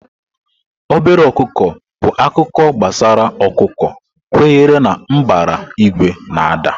Obere ọkụkọ bụ akụkọ gbasara ọkụkọ kwenyere na mbara igwe na-ada.